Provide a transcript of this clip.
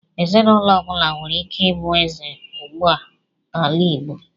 Ezinụlọ ọbụla nwere ike ịbụ eze ugbu a n'ala Igbo.